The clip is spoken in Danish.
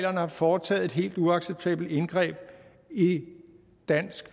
har foretaget et helt uacceptabelt indgreb i den danske